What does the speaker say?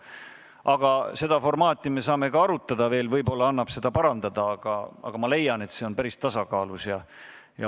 Aga seda formaati me saame veel arutada, võib-olla annab seda parandada, aga ma leian, et see on päris tasakaalus.